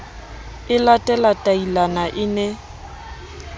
e late latailana e ne